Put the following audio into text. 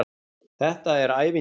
Þetta er ævintýri.